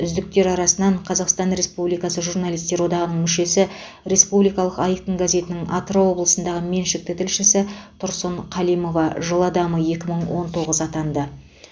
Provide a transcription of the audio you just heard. үздіктер арасынан қазақстан республикасы журналистер одағының мүшесі республикалық айқын газетінің атырау облысындағы меншікті тілшісі тұрсын калимова жыл адамы екі мың он тоғыз атанды